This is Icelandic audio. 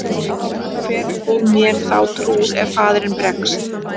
Hver mun mér þá trúr ef faðirinn bregst?